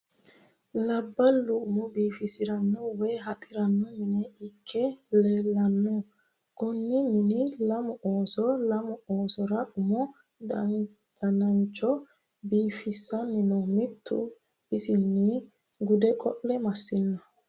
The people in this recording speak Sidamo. Labbalu umo biifisirano woyi haxirano mine ikke leellano kone mine lamu ooso lamu oosora umu danancho biifissani no mitu isini gude qeele massino.